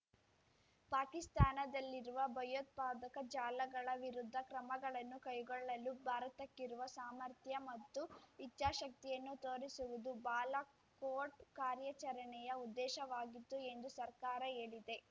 ಪಾಕಿಸ್ತಾನದಲ್ಲಿರುವ ಭಯೋತ್ಪಾದಕ ಜಾಲಗಳ ವಿರುದ್ಧ ಕ್ರಮಗಳನ್ನು ಕೈಗೊಳ್ಳಲು ಭಾರತಕ್ಕಿರುವ ಸಾಮರ್ಥ್ಯ ಮತ್ತು ಇಚ್ಛಾಶಕ್ತಿಯನ್ನು ತೋರಿಸುವುದು ಬಾಲಾ ಕೋಟ್ ಕಾರ್ಯಾಚರಣೆಯ ಉದ್ದೇಶವಾಗಿತ್ತು ಎಂದೂ ಸರ್ಕಾರ ಹೇಳಿದೆ